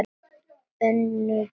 Önduðu ekki.